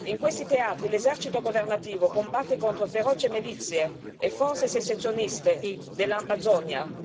In questi teatri l'esercito governativo combatte contro feroci milizie e forze secessioniste dell'Ambazonia.